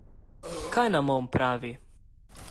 Kaj nam on pravi?